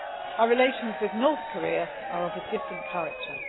Our relations with North Korea are of a different character.